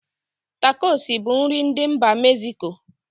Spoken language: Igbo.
Takosi bụ nri ndị mba meziko.